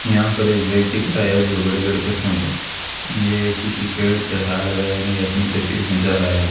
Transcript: यहां पर एक व्यक्ति खड़ा है जो बड़े बड़े पत्थरों पर ये किसी पेड़ पर हाय लगा नही अपनी तस्वीर खींचा रहा है।